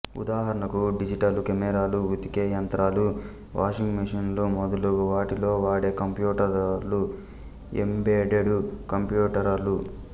ఉదాహరణకు డిజిటలు కెమెరాలు ఉతికే యంత్రాలు వాషింగు మెషీనులు మొదలగు వాటిలో వాడే కంప్యూటరులు ఎంబెడెడు కంప్యూటరులు